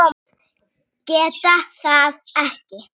Geta það ekki.